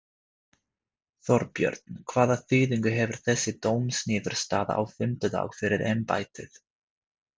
Þorbjörn: Hvaða þýðingu hefur þessi dómsniðurstaða á fimmtudag fyrir embættið?